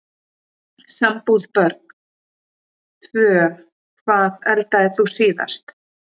Sambúð Börn: Tvö Hvað eldaðir þú síðast?